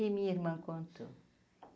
E minha irmã contou.